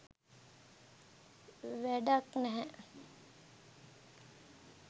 වැඩක් නැහැ